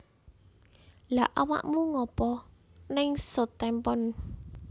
Lha awakmu ngopo ning Southampton?